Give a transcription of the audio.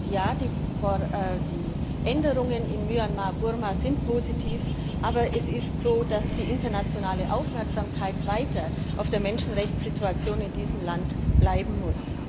Und Ja, die Änderungen in Myanmar Burma sind positiv, aber es ist so, dass die internationale Aufmerksamkeit weiter auf der Menschenrechtsituation in diesem Land bleiben muss.